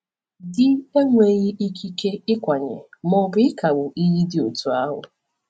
Di enweghị ikike ịkwanye ma ọ bụ ịkagbu iyi dị otú ahụ.